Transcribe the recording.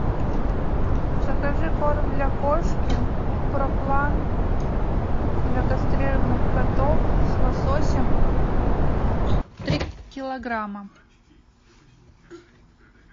закажи корм для кошки проплан для кастрированных котов с лососем три килограмма